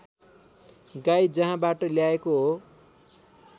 गाई जहाँबाट ल्याएको हो